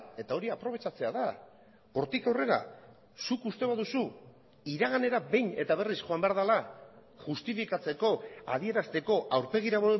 eta hori aprobetxatzea da hortik aurrera zuk uste baduzu iraganera behin eta berriz joan behar dela justifikatzeko adierazteko aurpegira